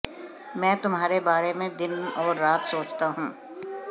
मैं तुम्हारे बारे में दिन और रात सोचता हूं